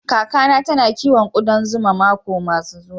Kaka na ta na kiwon kudan zuma mako biyu yanzu.